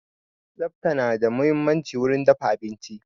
Tsafta na da muhimmanci wurin dafa abinci